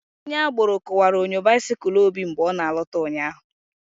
Onye agboro kuwara onyo bisikul Obi mgbe ọ na alota ụnyaahụ